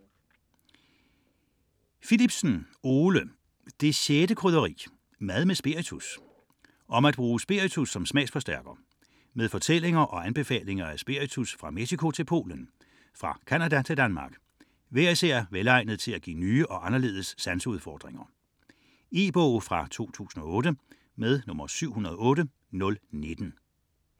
64.17 Philipsen, Ole: Det 6. krydderi: mad med spiritus Om at bruge spiritus som smagsforstærker. Med fortællinger og anbefalinger af spiritus fra Mexico til Polen, fra Canada til Danmark, hver især velegnet til at give nye og anderledes sanseudfordringer. E-bog 708019 2008.